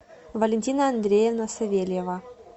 валентина андреевна савельева